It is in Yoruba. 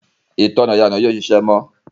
ìtanná ìyànà yìí ò ṣiṣẹ́ mọ́.